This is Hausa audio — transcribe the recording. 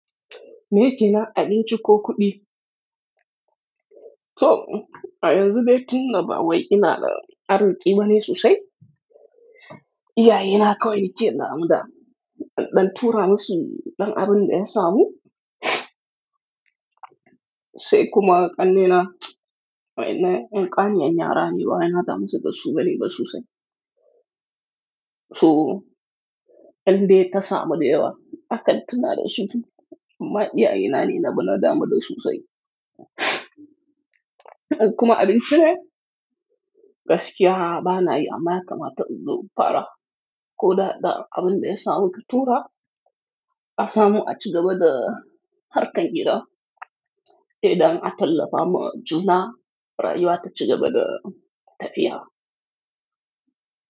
Me kina abinci ko kuɗi? To a yanzu be tuni naba wai ina da arziki ba ne sosai. Iyaye na kawai nike na mu da ɗan tura masu ɗan abun da ya samu. Sai kuma ƙanne na, wai na in ƙani an yi rana wai na damu zagassu gare ba sosai. To ɗan dai ta samu da yawa, akantuna da su bi. Amma iyaye na ne na bi na damu da sosai. Kuma abinci ne, gaskiya ba na yi amm yakamata inzo fara. Ko ɗaɗa abun da ya samu ki tura, asamu a cika bada harkan gida. Eh ɗan a talafa ma juna rayuwa ta cigaba da tafiya.